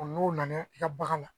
n'u nana i ka bagan na